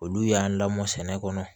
Olu y'an lamɔ sɛnɛ kɔnɔ